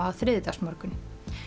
á þriðjudagsmorgun